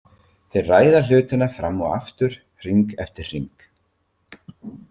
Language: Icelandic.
Þeir ræða hlutina fram og aftur, hring eftir hring.